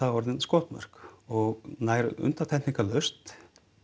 orðin skotmörk og nær undantekningarlaust